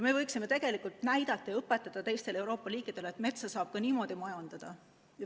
Me võiksime tegelikult näidata ja õpetada teistele Euroopa riikidele, et metsa saab ka niimoodi majandada.